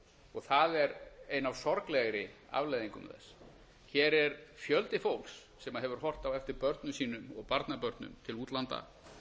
og það er ein af sorglegri afleiðingum þess hér er fjöldi fólks sem hefur horft á eftir börnum sínum og barnabörnum til útlanda